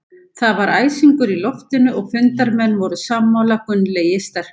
Það var æsingur í loftinu og fundarmenn voru sammála Gunnlaugi sterka.